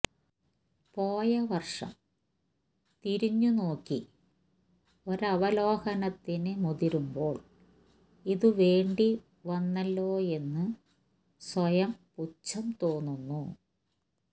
പോയവർഷം തിരിഞ്ഞുനോക്കി ഒരവലോകനത്തിന് മുതിരുമ്പോൾ ഇതു വേണ്ടി വന്നല്ലോയെന്ന് സ്വയം പുച്ഛം തോന്നുന്നു